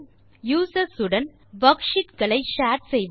users உடன் worksheet களை share செய்வது